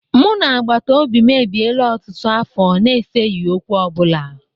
Mụ na agbatobi m ebiela ọtụtụ afọ na-eseghi okwu ọ bụla.